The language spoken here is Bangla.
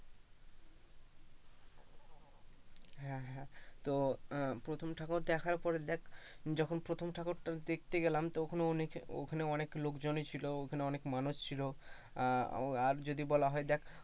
হ্যাঁ হ্যাঁ তো আহ প্রথম ঠাকুর দেখার পরে দেখ যখন প্রথম ঠাকুর টা দেখতে গেলাম তো ওখানে অনেক লোকজনই ছিল, অনেক মানুষ ছিল আর যদি বলা হয় দেখ,